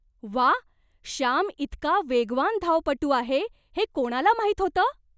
वाह! श्याम इतका वेगवान धावपटू आहे हे कोणाला माहीत होतं?